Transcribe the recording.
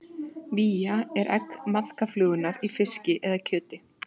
Vía er egg maðkaflugunnar í fiski eða kjöti.